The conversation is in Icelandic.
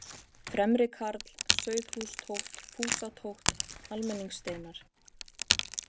Fremrikarl, Sauðhústótt, Fúsatótt, Almenningssteinar